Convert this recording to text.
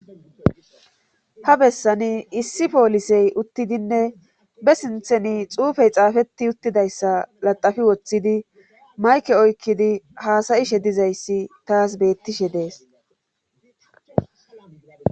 Ha besan issi polisey uttidine be sinthan xufey xafeti utidaysa latapi wothidi mayike oykidi hasayishe dizaysi tasi betishe des